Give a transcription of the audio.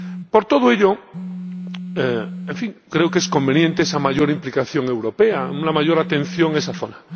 Por todo ello, creo que es conveniente una mayor implicación europea, una mayor atención a esa zona.